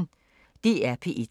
DR P1